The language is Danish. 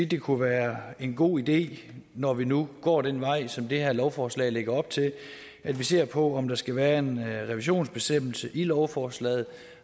det kunne være en god idé når vi nu går den vej som det her lovforslag lægger op til at vi ser på om der skal være en revisionsbestemmelse i lovforslaget